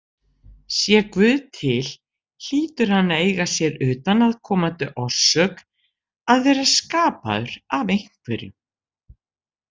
Sé Guð til hlýtur hann að eiga sér utanaðkomandi orsök, að vera skapaður af einhverjum.